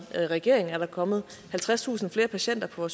i regering er der kommet halvtredstusind flere patienter på